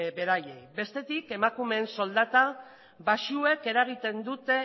beraiei bestetik emakumeen soldata baxuek eragiten dute